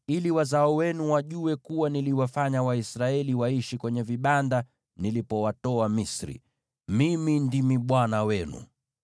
ili wazao wenu wajue kuwa niliwafanya Waisraeli waishi kwenye vibanda nilipowatoa Misri. Mimi ndimi Bwana Mungu wenu.’ ”